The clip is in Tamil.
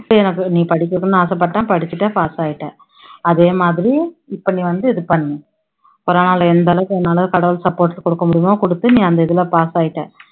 நீ படிக்கணும்னு ஆசைப்பட்ட படிச்சிட்ட pass ஆகிட்ட அதே மாதிரி இப்போ நீ வந்து இதை பண்ணு பரவால்ல எந்த அளவுக்கு உன்னால கடவுள் support கொடுக்க முடியுமோ கொடுத்து நீ அந்த இதுல pass ஆகிட்ட